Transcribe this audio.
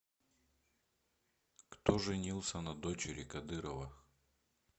кто женился на дочери кадырова